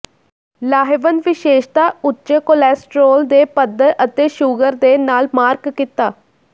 ਲਾਹੇਵੰਦ ਵਿਸ਼ੇਸ਼ਤਾ ਉੱਚੇ ਕੋਲੇਸਟ੍ਰੋਲ ਦੇ ਪੱਧਰ ਅਤੇ ਸ਼ੂਗਰ ਦੇ ਨਾਲ ਮਾਰਕ ਕੀਤਾ